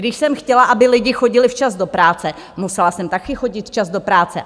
Když jsem chtěla, aby lidi chodili včas do práce, musela jsem také chodit včas do práce.